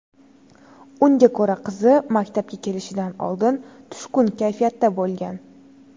Unga ko‘ra, qizi maktabga kelishidan oldin tushkun kayfiyatda bo‘lgan.